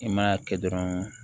I ma kɛ dɔrɔn